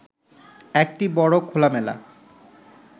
একটি বড় খোলামেলা